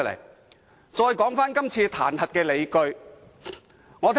現在談談今次彈劾的理據。